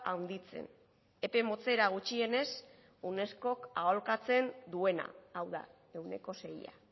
handitzen epe motzera gutxienez unescok aholkatzen duena hau da ehuneko seia